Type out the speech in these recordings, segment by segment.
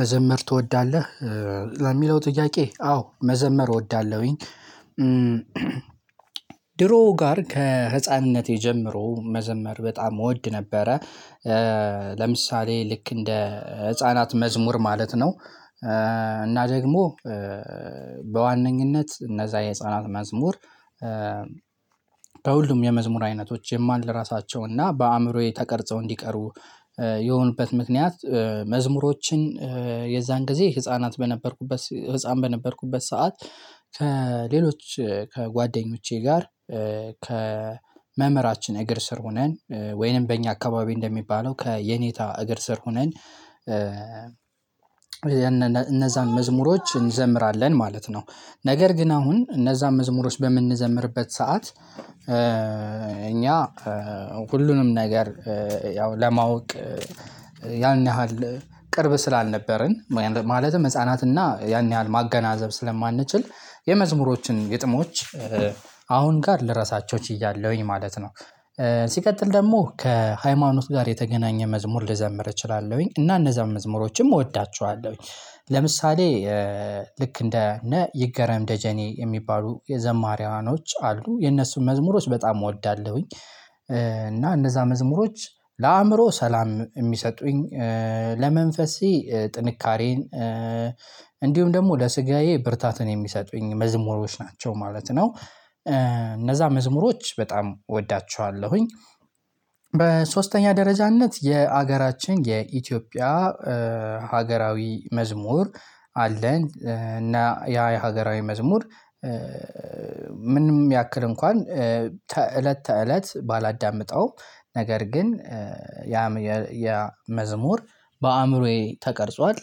መዘመር ትወዳለህ ለሚለው ጥያቄ አዎ መዘመር እወዳለሁኝ። ድሮ ጋር ከህፃንነት የጀመረው መዘመር በጣም እወድ ነበረ። ለምሳሌ ልክ እንደ ህፃናት መዝሙር ማለት ነው። እና ደግሞ በዋነኝነት እነዛ የህፃናት መዝሙር። ከሁሉም የመዝሙር አይነቶች የማልረሳቸው እና በአእምሮዬ ተቀርጸው እንዲቀሩ የሆኑበት ምክንያት መዝሙሮችን የዛን ጊዜ ህፃናት በነበርኩበት ህፃን በነበርኩበት ሰዓት ከሌሎች ከጓደኞቼ ጋር ከመምህራችን እግር ስር ሁነን ወይንም በእኛ አካባቢ እንደሚባለው ከየኔታ እግር ስር ሁነን። እነዛን መዝሙሮች እንዘምራለን ማለት ነው። ነገር ግን አሁን እነዛን መዝሙሮች በምንዘምርበት ሰዓት እኛ ሁሉንም ነገር ያው ለማወቅ ያን ያህል ቅርብ ስላልነበረን ማለትም ህፃናትና ያን ያህል ማገናዘብ ስለማንችል የመዝሙሮችን ግጥሞች አሁን ጋር ለረሳቸው ችያለሁኝ ማለት ነው። ሲቀጥል ደግሞ ከሃይማኖት ጋር የተገናኘ መዝሙር ልዘምር እችላለሁኝ እና እነዛን መዝሙሮችም እወዳችኋለሁኝ። ለምሳሌ ልክ እንደ እነ ይገረም ደጀኔ የሚባሉ የዘማሪያዋኖች አሉ የነሱን መዝሙሮች በጣም እወዳለሁኝ። እና እነዛ መዝሙሮች ለአእምሮ ሰላም እሚሰጡኝ ለመንፈሴ ጥንካሬን እንዲሁም ደግሞ ለስጋዬ ብርታትን የሚሰጡኝ መዝሙሮች ናቸው ማለት ነው። እነዛ መዝሙሮች በጣም እወዳቸዋለሁኝ። በሶስተኛ ደረጃነት የአገራችን የኢትዮጵያ ሀገራዊ መዝሙር አለን እና ያ የሀገራዊ መዝሙር። ምንም ያክል እንኳን እለት ተእለት ባላዳምጠው ነገር ግን ያ የመዝሙር በአእምሮዬ ተቀርጿል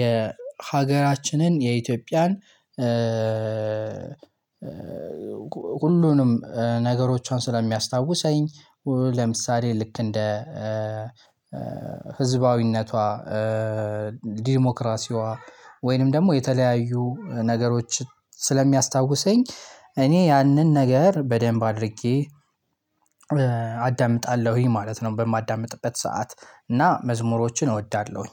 የሀገራችንን የኢትዮጵያን ሁሉንም ነገሮቿን ስለሚያስታውሰኝ። ለምሳሌ ልክ እንደ ህዝባዊነቷ ዲሞክራሲዋ ወይንም ደግሞ የተለያዩ ነገሮችን ስለሚያስታውሰኝ እኔ ያንን ነገር በደንብ አድርጌ አዳምጣለሁኝ ማለት ነው። በማዳምጥበት ሰዓት እና መዝሙሮችን እወዳለሁኝ።